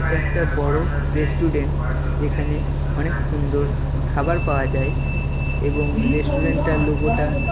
এটা একটা বড় রেস্টুরেন্ট যেখানে অনেক সুন্দর খাবার পাওয়া যায় এবং রেস্টুরেন্টটার লোগোটা --